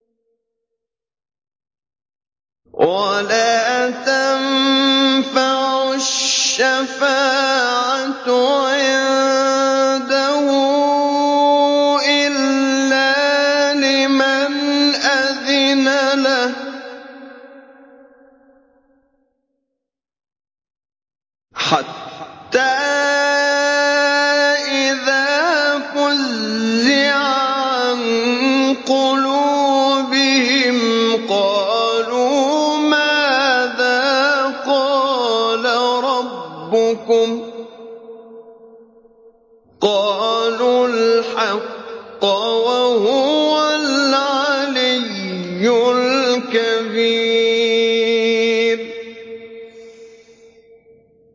وَلَا تَنفَعُ الشَّفَاعَةُ عِندَهُ إِلَّا لِمَنْ أَذِنَ لَهُ ۚ حَتَّىٰ إِذَا فُزِّعَ عَن قُلُوبِهِمْ قَالُوا مَاذَا قَالَ رَبُّكُمْ ۖ قَالُوا الْحَقَّ ۖ وَهُوَ الْعَلِيُّ الْكَبِيرُ